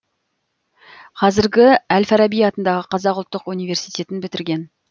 қазіргі әл фараби атындағы қазақ ұлттық университетін бітірген